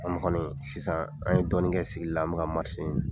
kɔni sisan an ye dɔɔnin kɛ sigili la an bɛ ka ɲini.